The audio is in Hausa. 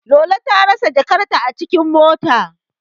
Lolo ta rasa jakarta a cikin mota.